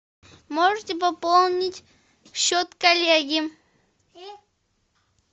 можете пополнить счет коллеги